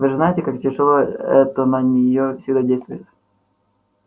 вы же знаете как тяжело это на неё всегда действует